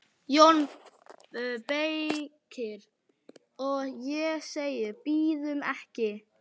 JÓN BEYKIR: Og ég segi: Bíðum ekki!